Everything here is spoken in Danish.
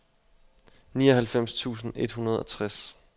nioghalvfems tusind et hundrede og tres